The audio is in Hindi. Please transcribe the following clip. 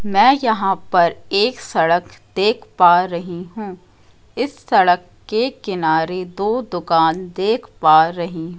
मैं यहां पर एक सड़क देख पा रही हूं इस सड़क के किनारे दो दुकान देख पा रही--